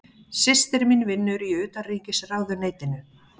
Systir mín vinnur í Utanríkisráðuneytinu.